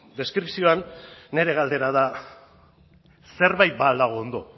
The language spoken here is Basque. deskripzioan nire galdera da zerbait ba al dago ondo